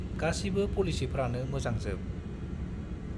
गासिबो पलिसिफ्रानो मोजांजोब ।